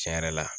Tiɲɛ yɛrɛ la